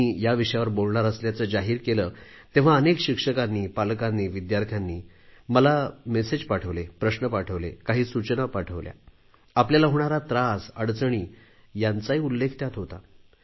मी या विषयावर बोलणार असल्याचे जाहीर केले तेव्हा अनेक शिक्षकांनी पालकांनी विद्यार्थ्यांनी मला मेसेज पाठवले प्रश्न पाठवले काही सूचना पाठवल्या आपल्याला होणारा त्रास अडचणी यांचाही उल्लेख त्यात होता